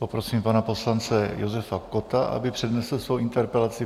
Poprosím pana poslance Josefa Kotta, aby přednesl svou interpelaci.